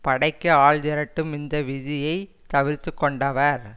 படைக்கு ஆள் திரட்டும் இந்த விதியை தவிர்த்து கொண்டவர்